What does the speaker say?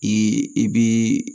I i bi